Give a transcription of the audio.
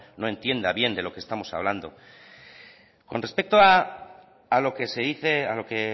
no entienda bien de lo que estamos hablando con respecto a lo que se dice a lo que